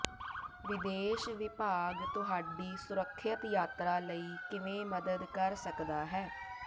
ਵਿਦੇਸ਼ ਵਿਭਾਗ ਤੁਹਾਡੀ ਸੁਰੱਖਿਅਤ ਯਾਤਰਾ ਲਈ ਕਿਵੇਂ ਮਦਦ ਕਰ ਸਕਦਾ ਹੈ